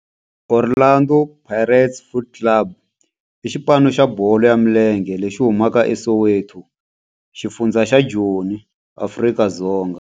Orlando Pirates Football Club i xipano xa bolo ya milenge lexi humaka eSoweto, xifundzha xa Joni, Afrika-Dzonga.